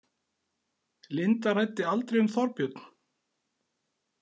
Linda ræddi aldrei um Þorbjörn?